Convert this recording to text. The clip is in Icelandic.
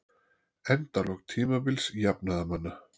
Endalok tímabils jafnaðarmanna